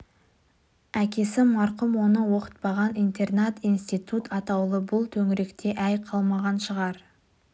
әкесі марқұм оны оқытпаған интернат институт атаулы бұл төңіректе әй қалмаған шығар